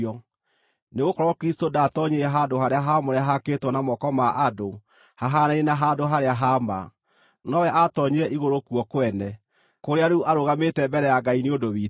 Nĩgũkorwo Kristũ ndaatoonyire handũ-harĩa-haamũre haakĩtwo na moko ma andũ hahaanaine na handũ harĩa ha ma; nowe aatoonyire igũrũ kuo kwene, kũrĩa rĩu arũgamĩte mbere ya Ngai nĩ ũndũ witũ.